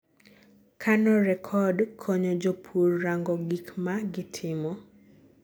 kano record konyo jopur rango gik ma gitimo